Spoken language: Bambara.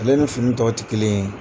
Ale ni fini tɔw tɛ kelen ye.